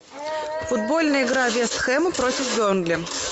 футбольная игра вест хэм против бернли